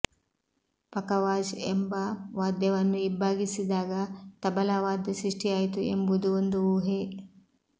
ಪಖವಾಜ್ ಎಂಬ ವಾದ್ಯವನ್ನು ಇಬ್ಬಾಗಿಸಿದಾಗ ತಬಲಾ ವಾದ್ಯ ಸೃಷ್ಟಿಯಾಯಿತು ಎಂಬುದು ಒಂದು ಊಹೆ